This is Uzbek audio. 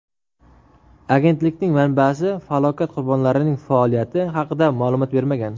Agentlikning manbasi falokat qurbonlarining faoliyati haqida ma’lumot bermagan.